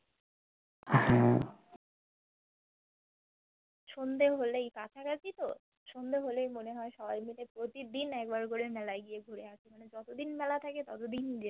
সন্ধ্যে হলেই কাঁচা কাঁচি তো সন্ধ্যে হলেই মোনে হয় সবাই মিলে প্রতিদিন এক বার কোরে মেলায় গিয়ে ঘুরে আসি মানে যতোদিন মেলা থাকে ততোদিন যেতে